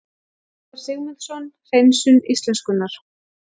Svavar Sigmundsson: Hreinsun íslenskunnar